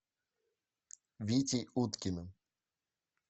витей уткиным